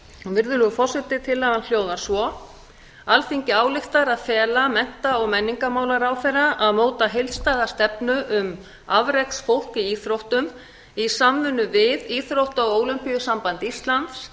virðulegur forseti tillagan hljóðar svo alþingi ályktar að fela mennta og menningarmálaráðherra að móta heildstæða stefnu um afreksfólk í íþróttum í samvinnu við íþrótta og ólympíusamband íslands